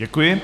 Děkuji.